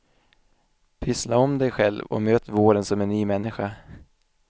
Pyssla om dig själv och möt våren som en ny människa.